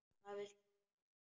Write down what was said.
Hvað viltu með þessu?